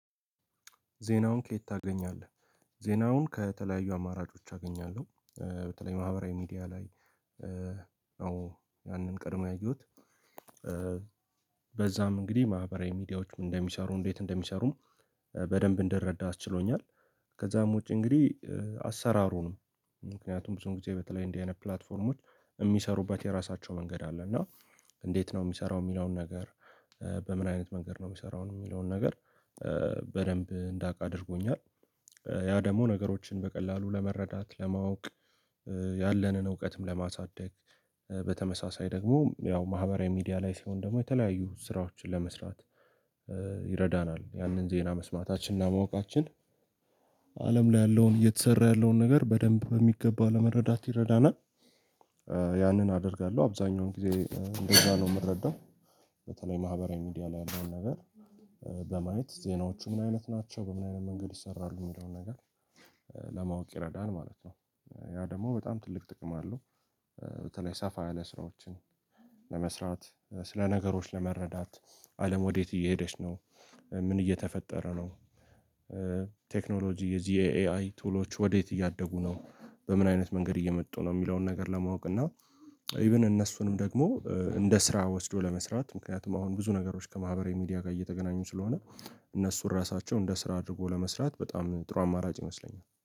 ዜናውን ከየት ታገኛለህ? ዜናውን ከተለያዩ አማራጮች አገኛለሁ በተለይ ማህበራዊ ሚዲያ ላይ። አዎ ያንን ቀድሞ ያየሁት። በዛም እንግዲህ ማህበራዊ ሚዲያዎችም እንደሚሰሩ እንዴት እንደሚሰሩም በደንብ እንድረዳ አስችሎኛል። ከዛም ውጪ እንግዲህ። አሰራሩ ነው። ምክንያቱም ብዙ ጊዜ በተለይ እንዲህ አይነት ፕላትፎርሞች የሚሰሩበት የራሳቸው መንገድ አለ እና እንዴት ነው የሚሰራው የሚለውን ነገር። በምን አይነት መንገድ ነው የሚሰራው የሚለውን ነገር። በደንብ እንዳውቅ አድርጎኛል። ያ ደግሞ ነገሮችን በቀላሉ ለመረዳት ለማወቅ። ያለንን እውቀትም ለማሳደግ። በተመሳሳይ ደግሞ ያው ማህበራዊ ሚዲያ ላይ ሲሆን ደግሞ የተለያዩ ስራዎችን ለመስራት። ይረዳናል ያንን ዜና መስማታችንና ማወቃችን። አለም ላይ ያለውን እየተሰራ ያለውን ነገር በደንብ በሚገባ ለመረዳት ይረዳናል። ያንን አደርጋለሁ አብዛኛውን ጊዜ እንደዛ ነው የምረዳው። በተለይ ማህበራዊ ሚዲያ ላይ ያለውን ነገር። በማየት ዜናዎቹ ምን አይነት ናቸው በምን አይነት መንገድ ይሰራሉ የሚለውን ነገር። ለማወቅ ይረዳል ማለት ነው። ያ ደግሞ በጣም ትልቅ ጥቅም አለው። በተለይ ሰፋ ያለ ስራዎችን። ለመስራት ስለ ነገሮች ለመረዳት አለም ወዴት እየሄደች ነው? ምን እየተፈጠረ ነው? ቴክኖሎጂ የዚህ የ ኤአይ ቱሎች ወዴት እያደጉ ነው በምን አይነት መንገድ እየመጡ ነው የሚለውን ነገር ለማወቅ እና። ኢቭን እነሱንም ደግሞ እንደ ስራ ወስዶ ለመስራት ምክንያቱም አሁን ብዙ ነገሮች ከማህበራዊ ሚዲያ ጋር እየተገናኙ ስለሆነ እነሱ ራሳቸው እንደ ስራ አድርጎ ለመስራት በጣም ጥሩ አማራጭ ይመስለኛል